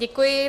Děkuji.